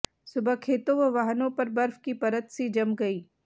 सुबह खेतों व वाहनों पर बर्फ की परत सी जम गई